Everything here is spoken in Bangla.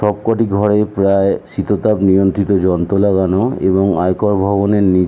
সব কোটি ঘরে প্রায় শীততাপ নিয়ন্ত্রীত যন্ত্র লাগানো এবং আয়কর ভবনের নি--